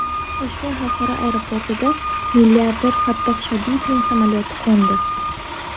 Toshkent xalqaro aeroportida milliarder Fattoh Shodiyevning samolyoti qo‘ndi.